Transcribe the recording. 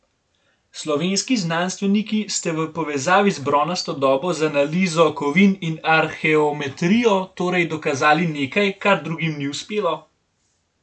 Slovenski znanstveniki ste v povezavi z bronasto dobo z analizo kovin in arheometrijo torej dokazali nekaj, kar drugim ni uspelo?